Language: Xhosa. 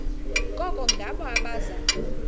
koko ngabo abaza